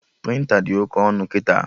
Prịnta dị oke ọnụ kịta